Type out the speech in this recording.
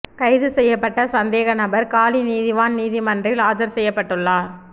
கைது செய்யப்பட்ட சந்தேக நபர் காலி நீதிவான் நீதிமன்றில் ஆஜர் செய்யப்பட்டுள்ளார்